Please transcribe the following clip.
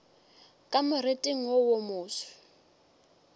ka moriting wo wo moso